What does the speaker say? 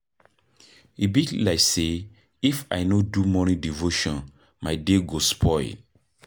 E be like sey if I no do morning devotion my day go spoil.